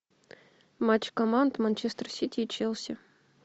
матч команд манчестер сити и челси